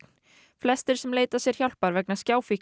flestir sem leita sér hjálpar vegna